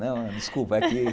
Não, desculpa. é que